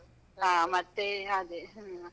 ಆ ಮತ್ತೇ ಅದೇ ಹ.